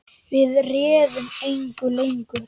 Við réðum engu lengur.